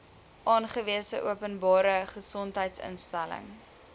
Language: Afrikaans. aangewese openbare gesondheidsinstelling